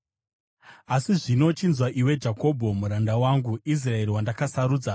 “Asi zvino chinzwa, iwe Jakobho, muranda wangu, Israeri, wandakasarudza.